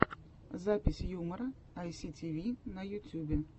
запись юмора айситиви на ютюбе